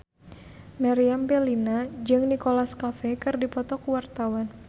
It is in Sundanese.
Meriam Bellina jeung Nicholas Cafe keur dipoto ku wartawan